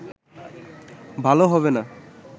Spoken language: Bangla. ভালো হবেনা